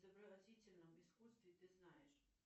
изобразительном искусстве ты знаешь